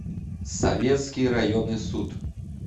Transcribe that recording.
советский районный суд